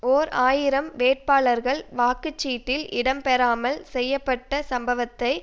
ஓர் ஆயிரம் வேட்பாளர்கள் வாக்கு சீட்டில் இடம் பெறாமல் செய்ய பட்ட சம்பவத்தை